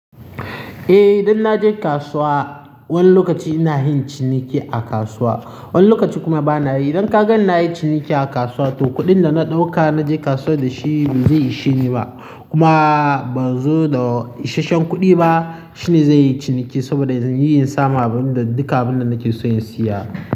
Eh, idan na je kasuwa wani lokaci ina yin ciniki a kasuwa, wani lokaci kuma bana yi. Idan ka gan na yi ciniki a kasuwa to kuɗin da na ɗauka na je kasuwa da shi bai zai isheni ba kuma ban zo da isasshen kuɗi ba. Shini zai yi ciniki saboda zan yi yin sama abin da duka abin da nake so in siya.